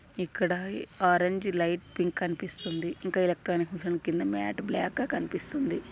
ఇక్కడ orange light pink కనిపిస్తుంది ఇంకా ఎలక్ట్రానిక్ మెషిన్ కింద మాట్ బ్లాక్ కనిపిస్తుంది.